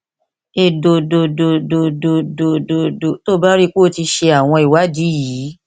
èdòdòdòdòdòdòdò tó o bá rí i pé o ti ṣe àwọn ìwádìí yìí